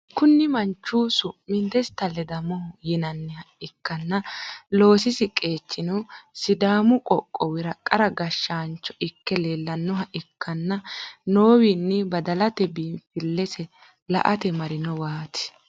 kuni manchi su'm desita ledamo yinaniha ikana loosisi qechino sidamo qooqowira qara gashanicho ike lelanoha ikana nowino badalate binifilise laate marinowat.